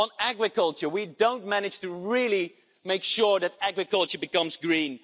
On agriculture we don't manage to really make sure that agriculture becomes green.